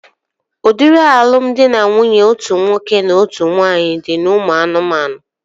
Udiri alụmdi na nwunye otu nwoke na ọtụtụ nwaanyị dị n'ụmụ anụmanụ